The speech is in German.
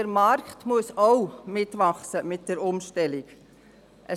Der Markt muss mit der Umstellung mitwachsen.